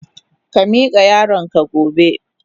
Ka mika yaron ka gobe.